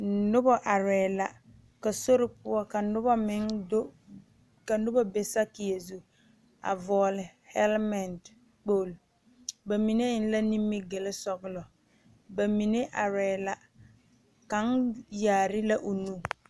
Noba aree la ka noba be satieɛ zu, a vɔgeli kpolo ba mine eŋe la nimi gile sɔglɔ, ba mine are la kaŋa yaare la o nu.